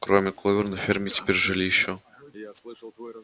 кроме кловер на ферме теперь жили ещё